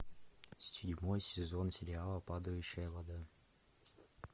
седьмой сезон сериала падающая вода